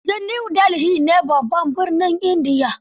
Yanzu New Delhi ne babban birnin India.